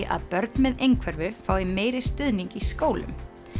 að börn með einhverfu fái meiri stuðning í skólum